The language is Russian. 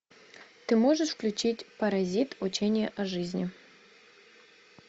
ты можешь включить паразит учение о жизни